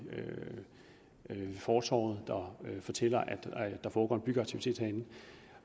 fortovet der fortæller at der foregår en byggeaktivitet derinde